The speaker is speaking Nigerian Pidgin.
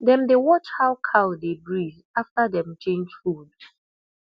dem dey watch how cow dey breathe after dem change food